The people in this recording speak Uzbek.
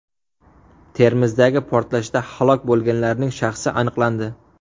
Termizdagi portlashda halok bo‘lganlarning shaxsi aniqlandi .